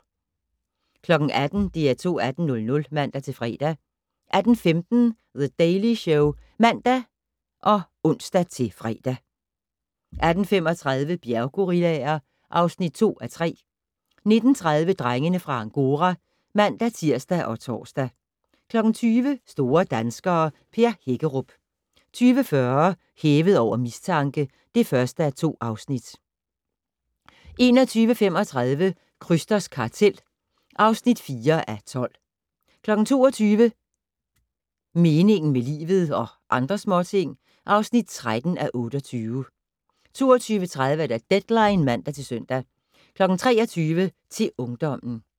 18:00: DR2 18:00 (man-fre) 18:15: The Daily Show (man og ons-fre) 18:35: Bjerggorillaer (2:3) 19:30: Drengene fra Angora (man-tir og tor) 20:00: Store danskere - Per Hækkerup 20:40: Hævet over mistanke (1:2) 21:35: Krysters kartel (4:12) 22:00: Meningen med livet - og andre småting (13:28) 22:30: Deadline (man-søn) 23:00: Til ungdommen